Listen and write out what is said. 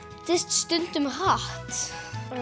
stundum hratt